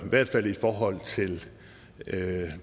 i hvert fald i forhold til